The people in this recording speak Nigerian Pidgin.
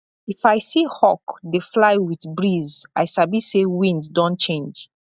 if i see hawk dey fly with breeze i sabi say wind don change